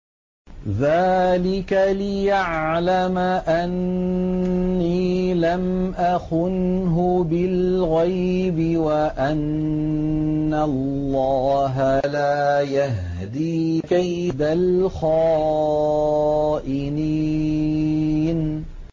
ذَٰلِكَ لِيَعْلَمَ أَنِّي لَمْ أَخُنْهُ بِالْغَيْبِ وَأَنَّ اللَّهَ لَا يَهْدِي كَيْدَ الْخَائِنِينَ